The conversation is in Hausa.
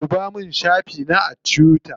Ɗuba min shafi na a tuwita.